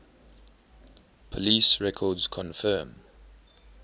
police records confirm